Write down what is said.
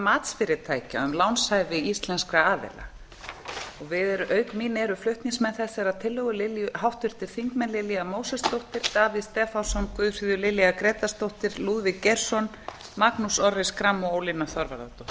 matsfyrirtækja um lánshæfi íslenskra aðila auk mín eru flutningsmenn þessarar tillögu háttvirtir þingmenn lilja mósesdóttir davíð stefánsson guðfríður lilja grétarsdóttir lúðvík geirsson magnús orri schram og